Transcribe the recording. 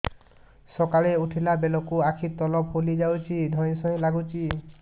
ସକାଳେ ଉଠିଲା ବେଳକୁ ଆଖି ତଳ ଫୁଲି ଯାଉଛି ଧଇଁ ସଇଁ ଲାଗୁଚି